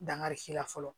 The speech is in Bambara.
Dankari fɔlɔ